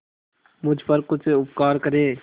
मुझ पर कुछ उपकार करें